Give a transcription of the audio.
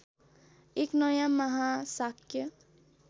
एक नयाँ महाशाक्य